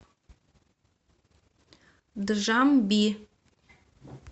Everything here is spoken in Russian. джамби